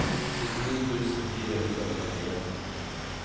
syttini tusen fire hundre og trettien